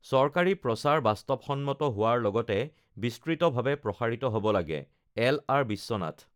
চৰকাৰী প্ৰচাৰ বাস্তৱসন্মত হোৱাৰ লগতে বিস্তৃতভাৱে প্ৰসাৰিত হব লাগেঃ এল.আৰ. বিশ্বনাথ